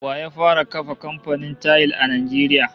Wa ya fara kafa kamfanin tayil a Najeriya?